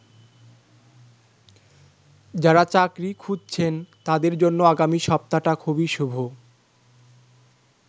যারা চাকরি খুঁজছেন তাদের জন্য আগামী সপ্তাহটা খুবই শুভ।